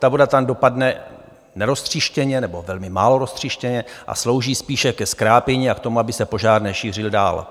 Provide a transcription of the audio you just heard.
Ta voda tam dopadne neroztříštěně nebo velmi málo roztříštěně a slouží spíše ke zkrápění a k tomu, aby se požár nešířil dál.